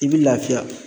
I b'i lafiya